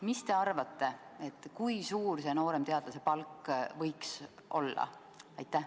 Mis te arvate, kui suur see nooremteadlase palk võiks olla?